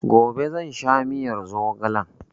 Gobe zan sha miyar zogalen